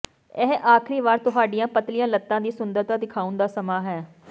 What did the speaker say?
ਇਹ ਆਖਰੀ ਵਾਰ ਤੁਹਾਡੀਆਂ ਪਤਲੀਆਂ ਲੱਤਾਂ ਦੀ ਸੁੰਦਰਤਾ ਦਿਖਾਉਣ ਦਾ ਸਮਾਂ ਹੈ